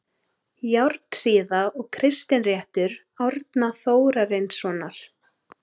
Járnsíða og Kristinréttur Árna Þórarinssonar